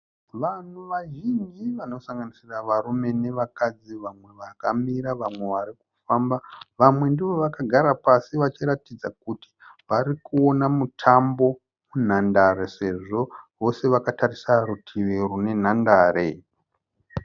Vanhu vazhinji vanosanganisira varume nevakadzi vamwe vakamira vamwe varikufamba. Vamwe ndivo vakagara pasi vachiratidza kuti varikuona mutambo munhandare sezvo vose vakatarisa rutivi rune nhandare.